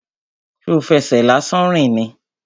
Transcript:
Ṣo fẹsẹ̀ lásán rìn ni?